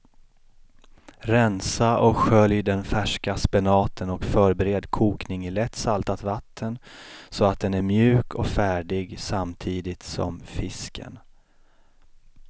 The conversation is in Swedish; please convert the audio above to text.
Rensa och skölj den färska spenaten och förbered kokning i lätt saltat vatten så att den är mjuk och färdig samtidigt som fisken.